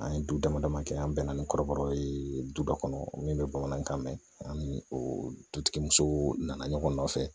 An ye du damadama kɛ an bɛnna ni kɔrɔbɔrɔ ye duba kɔnɔ min bɛ bamanankan mɛn ani dutigi musow nana ɲɔgɔn nɔfɛ